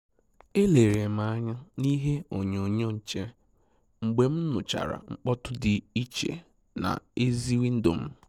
È lère m ányá na ìhè ònyònyò nchè mgbe m nụ́chàrà mkpọtụ dị́ ìchè n'èzì wíndò m.